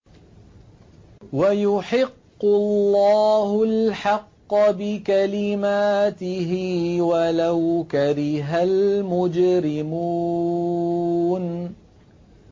وَيُحِقُّ اللَّهُ الْحَقَّ بِكَلِمَاتِهِ وَلَوْ كَرِهَ الْمُجْرِمُونَ